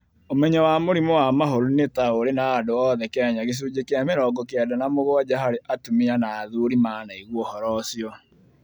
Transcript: Ũmenyo wa mũrimũ wa mahũri nĩ ta ũrĩ na andũ othe kenya gĩcunjĩ kĩa mĩrongo kenda na mũgwanja harĩ atumia na athuri manaigua ũhoro ũcio